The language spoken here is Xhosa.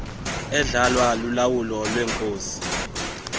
edlalwa lulawulo lweenkosi